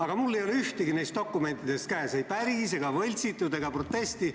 Aga mul ei ole ühtegi neist dokumentidest käes, ei päris ega võltsitud protokolli ega protesti.